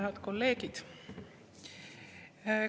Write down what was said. Head kolleegid!